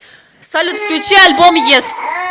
салют включи альбом ес